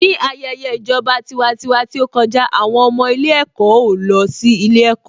Ní ayẹyẹ ìjọba tiwantiwa tí ó kọjá, àwọn ọmọ ilé-ẹ̀kọ́ ò lọ sí ilé-ẹ̀kọ́.